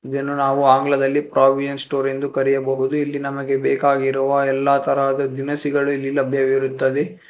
ಇದನ್ನು ನಾವು ಆಂಗ್ಲದಲ್ಲಿ ಪ್ರಾವಿಯನ್ ಸ್ಟೋರ್ ಎಂದು ಕರೆಯಬಹುದು ಇಲ್ಲಿ ನಮಗೆ ಬೇಕಾಗಿರುವ ಎಲ್ಲಾ ತರದ ದಿನಸಿಗಳು ಇಲ್ಲಿ ಲಭ್ಯವಿರುತ್ತವೆ.